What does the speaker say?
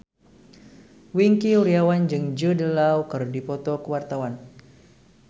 Wingky Wiryawan jeung Jude Law keur dipoto ku wartawan